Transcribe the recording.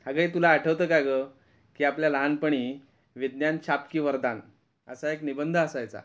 अगं हे तुला आठवतं का गं की आपल्या लहानपणी, विज्ञान शाप की वरदान असा एक निबंध असायचा.